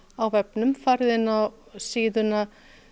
á vefnum farið inn á síðuna